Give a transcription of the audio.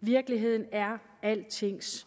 virkeligheden er altings